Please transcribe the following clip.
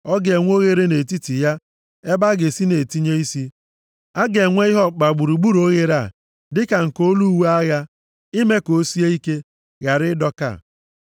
Ọ ga-enwe oghere nʼetiti ya ebe a ga-esi na-etinye isi. A ga-enwe ihe ọkpụkpa gburugburu oghere a dịka nke olu uwe agha, ime ka o sie ike, ghara ịdọka.